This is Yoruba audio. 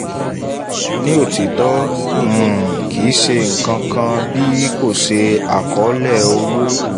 ní òtítọ́ um um kìí ṣe ǹkan kan bí kò ṣe àkọọ́lẹ̀ owó